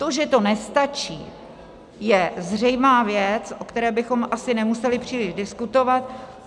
To, že to nestačí, je zřejmá věc, o které bychom asi nemuseli příliš diskutovat.